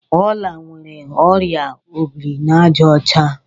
Ọla nwere ọrịa obirinaàjàọcha.